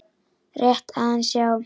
Rétt aðeins, já.